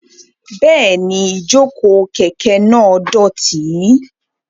Bẹ́ẹ̀ni, ìjókòó kẹ̀kẹ́ náà dọ̀tí.